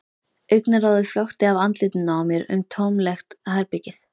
Augnaráðið flökti af andlitinu á mér um tómlegt herbergið.